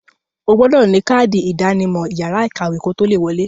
O gbọdọ̀ ní kádì ìdánimọ̀ yàrá ìkàwé kotó le wọ̀ọ.